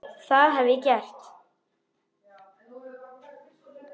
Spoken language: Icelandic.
Það hef ég gert.